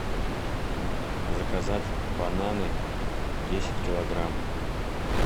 заказать бананы десять килограмм